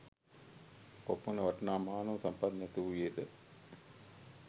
කොපමණ වටිනා මානව සම්පත් නැති වූයේද